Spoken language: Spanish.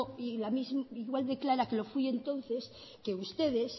e igual de clara que lo fui entonces que ustedes